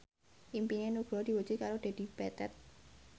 impine Nugroho diwujudke karo Dedi Petet